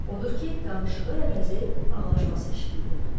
Odur ki, danışığı əvəzi ağlaşması eşidildi.